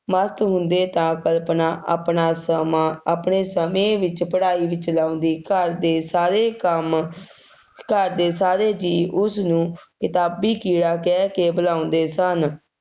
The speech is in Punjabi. ਮਸਤ ਹੁੰਦੇ ਤਾਂ ਕਲਪਨਾ ਆਪਣਾ ਸਮਾਂ ਆਪਣੇ ਸਮੇਂ ਵਿੱਚ ਪੜ੍ਹਾਈ ਵਿੱਚ ਲਾਉਂਂਦੀ, ਘਰ ਦੇ ਸਾਰੇ ਕੰਮ ਘਰ ਦੇ ਸਾਰੇ ਜੀਅ ਉਸਨੂੰ ਕਿਤਾਬੀ ਕੀੜਾ ਕਹਿ ਕੇ ਬੁਲਾਉਂਦੇ ਸਨ,